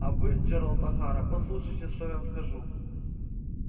а вы джералд охара послушайте что я вам скажу